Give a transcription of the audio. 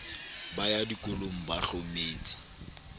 ba ya dikolong ba hlometse